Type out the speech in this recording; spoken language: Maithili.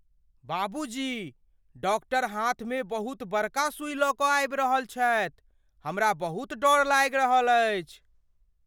बाबूजी, डाक्टर हाथमे बहुत बड़का सुई लऽ कऽ आबि रहल छथि। हमरा बहुत डर लागि रहल अछि।